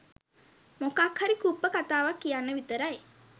මොකක්හරි කුප්ප කතාවක් කියන්න විතරයි